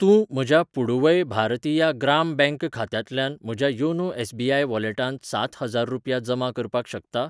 तूं म्हज्या पुडुवै भारतिया ग्राम ब्यांक खात्यांतल्यान म्हज्या योनो एस.बी.आय वॉलेटांत सात हजार रुपया जमा करपाक शकता?